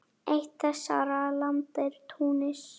Eitt þessara landa er Túnis.